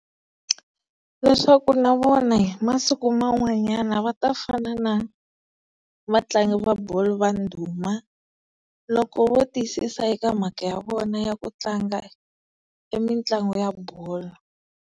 Leswaku na vona hi masiku man'wanyana va ta fana na vatlangi va bolo va ndhuma, loko vo tiyisisa eka mhaka ya vona ya ku tlanga mitlangu ya bolo.